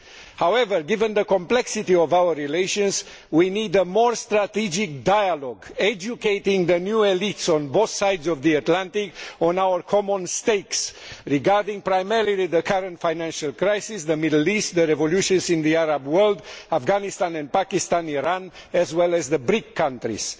However, given the complexity of our relations, we need a more strategic dialogue, educating the new elites on both sides of the Atlantic on our common stakes regarding primarily the current financial crisis, the Middle East, the revolutions in the Arab world, Afghanistan and Pakistan, Iran as well as the BRIC countries.